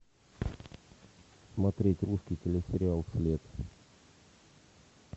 смотреть русский телесериал след